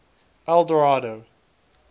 eldorado